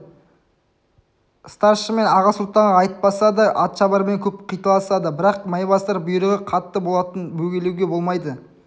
старшын мен аға сұлтанға айтпаса да атшабармен көп қиталасады бірақ майбасар бұйрығы қатты болатын бөгелуге болмайды